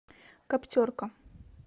каптерка